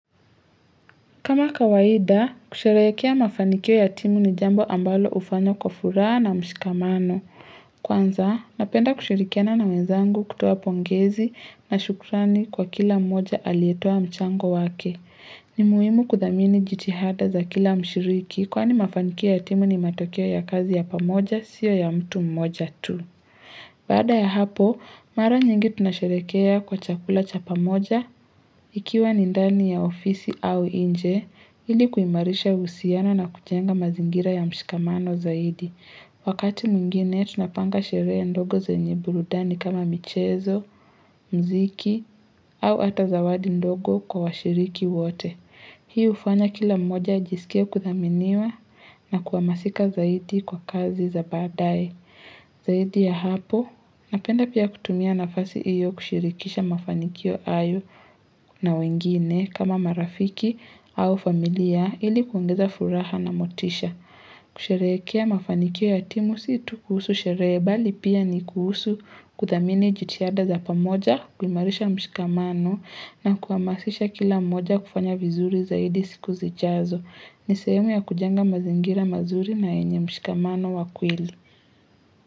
Kama kawaida, kusherehekea mafanikio ya timu ni jambo ambalo hufanywa kwa furaha na mshikamano. Kwanza, napenda kushirikiana na wenzangu kutoa pongezi na shukrani kwa kila mmoja aliyetoa mchango wake. Ni muhimu kuthamini jitihada za kila mshiriki kwani mafanikio ya timu ni matokeo ya kazi ya pamoja sio ya mtu mmoja tu. Baada ya hapo, mara nyingi tunasherehekea kwa chakula cha pamoja Ikiwa ni ndani ya ofisi au nje, ili kuimarisha uhusiano na kujenga mazingira ya mshikamano zaidi. Wakati mwingine, tunapanga sherehe ndogo zenye burudani kama michezo, muziki, au hata zawadi ndogo kwa washiriki wote. Hii hufanya kila mmoja ajisikie kuthaminiwa na kuhamasika zaidi kwa kazi za baadaye Zaidi ya hapo, napenda pia kutumia nafasi hiyo kushirikisha mafanikio hayo na wengine kama marafiki au familia ili kuongeza furaha na motisha. Kusherehekea mafanikio ya timu si tu kuhusu sherehe bali pia ni kuhusu kuthamini jitihada za pamoja, kuimarisha mshikamano na kuhamasisha kila mmoja kufanya vizuri zaidi siku zijazo. Ni sehemu ya kujenga mazingira mazuri na yenye mshikamano wa kweli.